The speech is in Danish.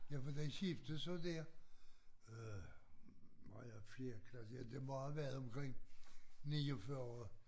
Ja for den skiftede så der øh maj af fjerde klasse ja det må have været omkring 49